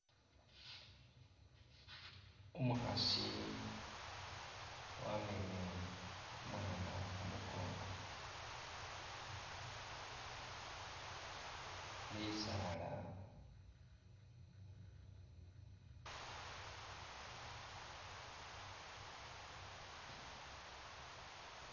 Umukhaasi wamamele umwana khumukongo, bisaala